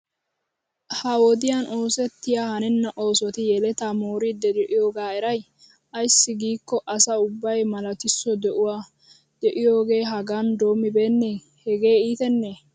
Ha wodiyan oosettiya hanenna oosoti yelataa mooridi diyoogaa eray? Ayssi giiko asa ubbay malatisso de'uwaa de'iyooga hagan doomibeene! Hegee iitenne?